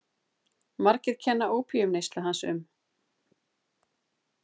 Margir kenna opíumneyslu hans um.